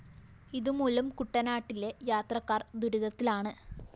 ഇതുമൂലം കുട്ടനാട്ടിലെ യാത്രക്കാര്‍ ദുരിതത്തിലാണ്